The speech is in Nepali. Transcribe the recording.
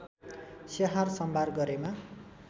स्याहार सम्भार गरेमा